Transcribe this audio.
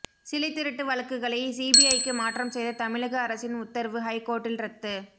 சிலைத் திருட்டு வழக்குகளை சிபிஐக்கு மாற்றம் செய்த தமிழக அரசின் உத்தரவு ஹைகோர்ட்டில் ரத்து